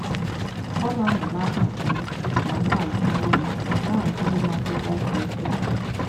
Ọ na-anọ n’akụkụ m ma na-agụrụ m na-agụrụ m akwụkwọ kwa ụbọchị.